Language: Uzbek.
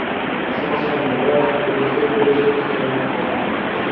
asosan biroz bulutli bo‘lishi kutilmoqda.